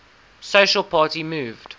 socialist party moved